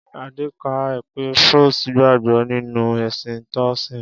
Adé kà á pé Frost gbàgbọ́ nínú ẹ̀sìn Toasim.